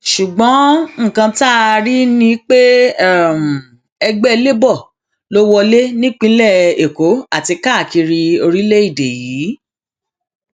ṣùgbọn nǹkan tá a rí ni pé ẹgbẹ labour ló wọlé nípìnlẹ èkó àti káàkiri orílẹèdè yìí